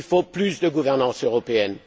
Il faut plus de gouvernance européenne.